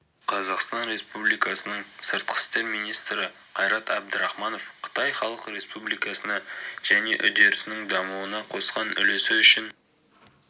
қазақстан республикасының сыртқы істер министрі қайрат әбдірахманов қытай халық республикасына және үдерісінің дамуына қосқан үлесі үшін